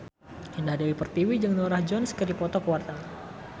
Indah Dewi Pertiwi jeung Norah Jones keur dipoto ku wartawan